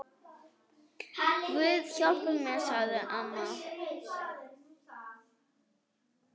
Guð hjálpi mér, sagði amma.